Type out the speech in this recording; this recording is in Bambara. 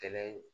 Kɛlɛ ye